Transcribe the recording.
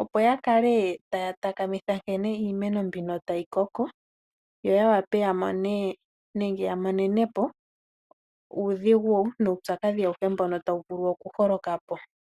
opo ya kale taya takamitha nkene iimeno mbino tayi koko, yo ya wape ya monene po uudhigu nuupyakadhi awuhe mbono tawu vulu okuholoka po.